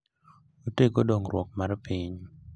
Otego dongruok mar piny.